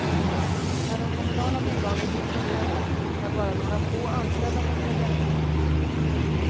När de kommunala bolagen nu tar över har bara några få anställda fått följa med.